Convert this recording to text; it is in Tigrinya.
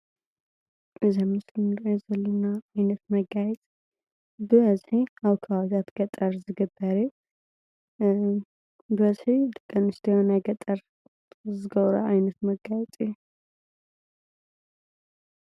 እዚ ኣብ ምስሊ ንሪኦ ዘለና ዓይነት መጋየፂ ብበዝሒ ኣብ ከባቢታት ገጠር ዝግበር እዩ፡፡ ብበዝሒ ደቂ ኣንስትዮ ናይ ገጠር ዝገብርኦ ዓይነት መጋየፂ እዩ፡፡